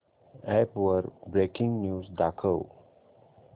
app वर breaking news दाखव